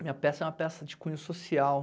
Minha peça é uma peça de cunho social.